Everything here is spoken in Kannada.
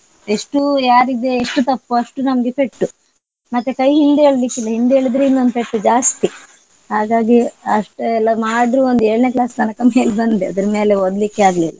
ಎಷ್ಟು ಯಾರಿಗೆ ಎಷ್ಟು ತಪ್ಪು ಅಷ್ಟು ನಮ್ಗೆ ಪೆಟ್ಟು ಮತ್ತೆ ಕೈ ಹಿಂದೆ ಎಳಿಲಿಕ್ಕಿಲ್ಲ ಹಿಂದೆ ಎಳಿದ್ರೆ ಇನ್ನೊಂದು ಪೆಟ್ಟು ಜಾಸ್ತಿ. ಹಾಗಾಗಿ ಅಷ್ಟೆಲ್ಲ ಮಾಡ್ರು ಒಂದ್ ಏಳ್ನೇ class ತನಕ ಮೇಲ್ ಬಂದೆ ಅದ್ರ್ ಮೇಲೆ ಓದ್ಲಿಕ್ಕೆ ಆಗ್ಲಿಲ್ಲ.